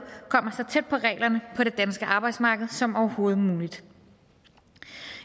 kommer så tæt på reglerne på det danske arbejdsmarked som overhovedet muligt